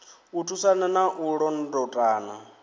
u thusana na u londotana